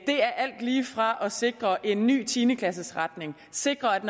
er alt lige fra at sikre en ny tiende klasses retning sikre at